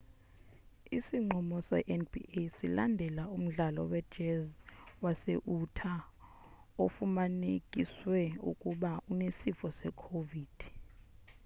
isinqumo se-nba silandela umdlali we-jazz wase-utah ofumanekiswe uba unesifo se-covid-19